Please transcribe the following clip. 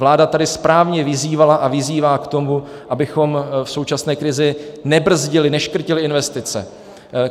Vláda tady správně vyzývala a vyzývá k tomu, abychom v současné krizi nebrzdili, neškrtili investice.